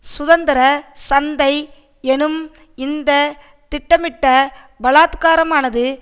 சுதந்திர சந்தை எனும் இந்த திட்டமிட்ட பலாத்காரமானது